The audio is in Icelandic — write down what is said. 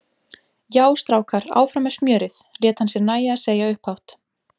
Já, strákar, áfram með smjörið! lét hann sér nægja að segja upphátt.